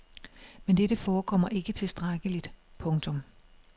Men dette forekommer ikke tilstrækkeligt. punktum